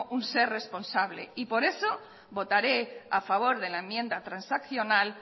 un ser responsable por eso votaré a favor de la enmienda transaccional